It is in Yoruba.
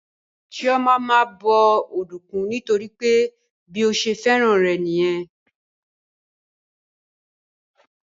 Chioma máa ń bọ ọ̀dùnkún nítorí pé bí ó ṣe fẹ́ràn rẹ̀ nìyẹn